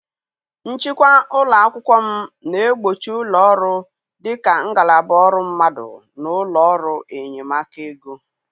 Nchịkwa ụlọ akwụkwọ m na-egbochi ụlọ ọrụ dị ka ngalaba ọrụ mmadụ na ụlọ ọrụ enyemaka ego.